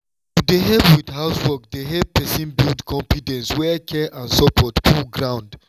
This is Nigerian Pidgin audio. to dey help with housework dey help person build confidence where care and support full ground.